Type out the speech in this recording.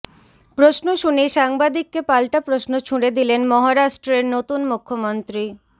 প্রশ্ন শুনে সাংবাদিককে পালটা প্রশ্ন ছুড়ে দিলেন মহারাষ্ট্রের নতুন মুখ্যমন্ত্রী